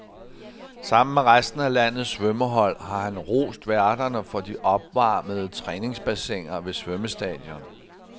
Sammen med resten af landets svømmehold har han rost værterne for de opvarmede træningsbassiner ved svømmestadion.